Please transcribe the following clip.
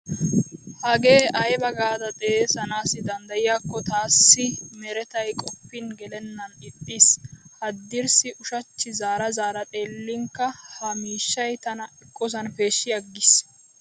Hagee ayba gaada xeesanaassi danddayyiyaakko taassi a meretay qoppin gelennan ixxiis. Haddirssi ushachchi zaara zaara xeellinkka ha miishshay tana eqqosan peeshshi agiis.